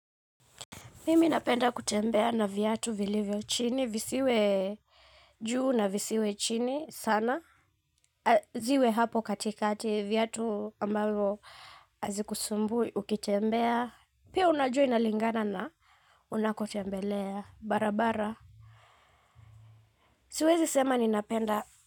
Mimi napenda kutembea na viatu vilivyo chini visiwe juu na visiwe chini sana. Ziwe hapo katikati viatu ambalo hazikusumbui ukitembea. Pia unajua inalingana na unakotembelea barabara. Siwezi sema ninapenda.